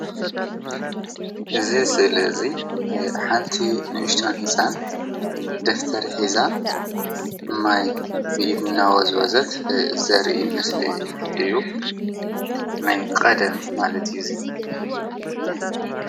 እዚ ስእሊ እዚ ሓንቲ ንእሽተን ህፃን ደፍተር ሒዛ ማይ ብኢድ እናወዝወዘት ዘርኢ ምስሊ እዩ፡፡ ናይ ቐደም ማለት እዩ እዚ..